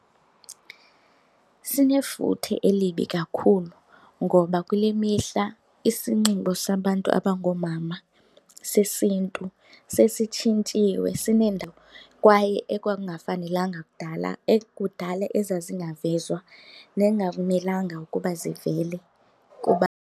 Sinefuthe elibi kakhulu ngoba kule mihla isinxibo sabantu abangoomama sesiNtu sesitshintshiwe kwaye ekwakungafanelekanga kudala ekudala ezazingavezwa nekungamelanga ukuba zivele kuba .